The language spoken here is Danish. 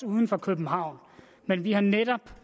uden for københavn men vi har netop